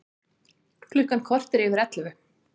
Klukkan korter yfir ellefu